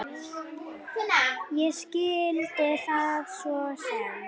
Ég skildi það svo sem.